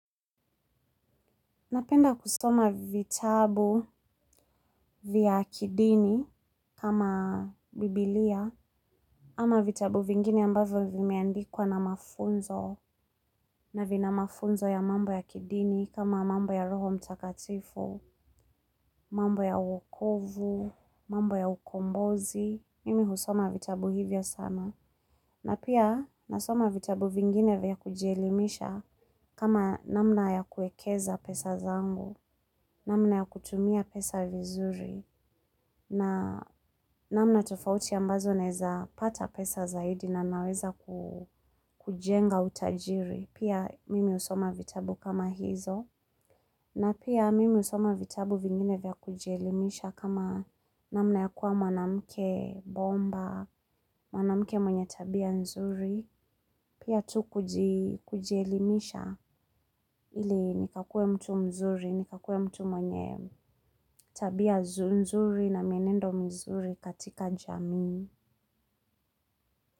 Napenda kusoma vitabu vya kidini kama biblia ama vitabu vingine ambavyo vimeandikwa na mafunzo na vina mafunzo ya mambo ya kidini kama mambo ya roho mtakatifu, mambo ya wokovu, mambo ya ukombozi. Mimi husoma vitabu hivyo sana, na pia nasoma vitabu vingine vya kujielimisha kama namna ya kuwekeza pesa zangu, namna ya kutumia pesa vizuri, na namna tofauti ambazo naweza pata pesa zaidi na naweza kujenga utajiri. Pia mimi husoma vitabu kama hizo na pia mimi husoma vitabu vingine vya kujielimisha kama namna ya kuwa mwanamke bomba, mwanamke mwenye tabia nzuri. Pia tu kujelimisha ili nikakue mtu mzuri, nikakue mtu mwenye tabia nzuri na mienendo mzuri katika jamii.